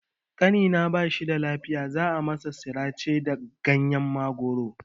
Ƙanina ba shida lafiya, za a masa sirace da ganyen mangoro.